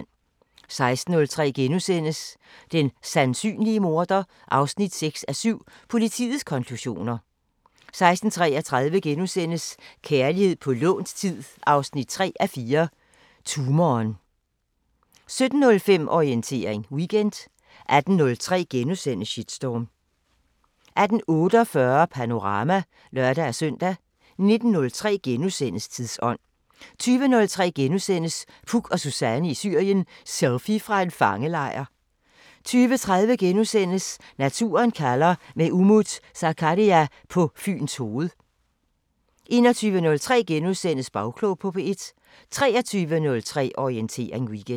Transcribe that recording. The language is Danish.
16:03: Den sandsynlige morder 6:7 – Politiets konklusioner * 16:33: Kærlighed på lånt tid 3:4 – Tumoren * 17:05: Orientering Weekend 18:03: Shitstorm * 18:48: Panorama (lør-søn) 19:03: Tidsånd * 20:03: Puk og Suzanne i Syrien: Selfie fra en fangelejr * 20:30: Naturen kalder – med Umut Sakarya på Fyns Hoved * 21:03: Bagklog på P1 * 23:03: Orientering Weekend